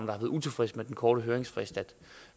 været utilfredse med den korte høringsfrist